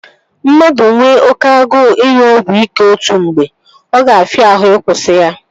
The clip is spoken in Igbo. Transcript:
Mmadụ nwe oké agụụ ịṅụ ọgwụ ike otu mgbe, ọ ga-afịa ahụ ị kwụsị ya